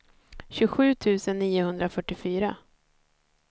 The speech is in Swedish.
tjugosju tusen niohundrafyrtiofyra